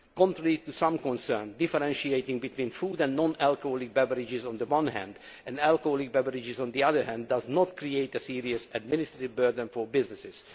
EU. Contrary to some concerns, differentiating between food and non alcoholic beverages, on the one hand, and alcoholic beverages, on the other hand, does not create a serious administrative burden for businesses.